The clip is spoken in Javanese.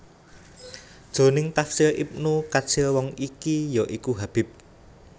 Jroning Tafsir Ibnu Katsir wong iki ya iku Habib